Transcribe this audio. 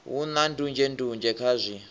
hu na ndunzhendunzhe kha zwi